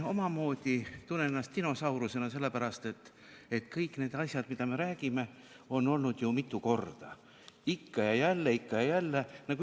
Ma tunnen ennast dinosaurusena, sest kõik need asjad, millest me räägime, on olnud siin ju mitu korda, ikka ja jälle, ikka ja jälle.